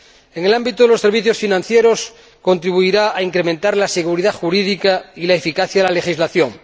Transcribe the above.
En el ámbito de los servicios financieros, contribuirá a incrementar la seguridad jurídica y la eficacia de la legislación.